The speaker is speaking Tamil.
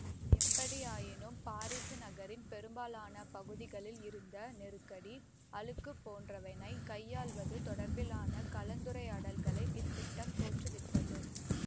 எப்படியாயினும் பாரிசு நகரின் பெரும்பாலான பகுதிகளில் இருந்த நெருக்கடி அழுக்குப் போன்றவனைக் கையாள்வது தொடர்பிலான கலந்துரையாடல்களை இத்திட்டம் தோற்றுவித்தது